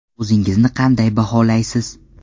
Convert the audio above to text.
O‘zingizni qanday baholaysiz?